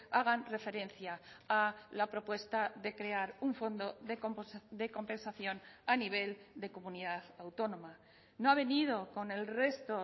hagan referencia a la propuesta de crear un fondo de compensación a nivel de comunidad autónoma no ha venido con el resto